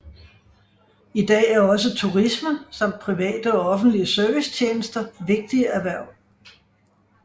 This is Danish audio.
I dag er også turisme samt private og offentlige servicetjenester vigtige erhverv